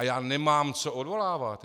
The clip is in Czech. A já nemám co odvolávat.